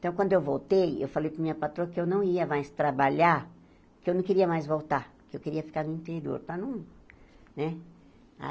Então, quando eu voltei, eu falei para a minha patroa que eu não ia mais trabalhar, que eu não queria mais voltar, que eu queria ficar no interior, estar no... né?